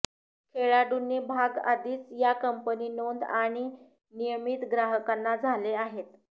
खेळाडूंनी भाग आधीच या कंपनी नोंद आणि नियमित ग्राहकांना झाले आहेत